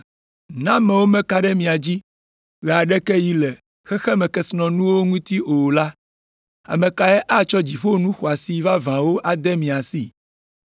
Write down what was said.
Ne amewo mekana ɖe mia dzi ɣe aɖeke ɣi le xexemekesinɔnuwo ŋuti o la, ame kae atsɔ dziƒo nu xɔasi vavãwo ade mia si?